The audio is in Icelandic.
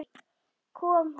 Kom hann?